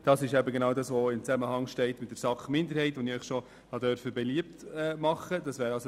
Genau hier besteht der Zusammenhang zur Planungserklärung 2 der SAK-Minderheit, die ich Ihnen bereits habe beliebt machen dürfen.